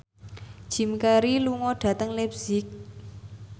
Jim Carey lunga dhateng leipzig